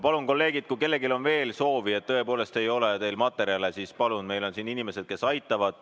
Palun, kolleegid, kui kellelgi on veel soovi, kui tõepoolest ei ole teil materjale, siis meil on siin inimesed, kes aitavad.